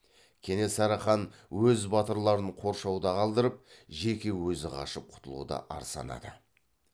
кенесары хан өз батырларын қоршауда қалдырып жеке өзі қашып құтылуды ар санады